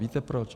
Víte proč?